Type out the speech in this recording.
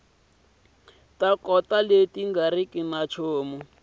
ta nkoka leti nga riki